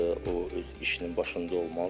O öz işinin başında olmalıdır.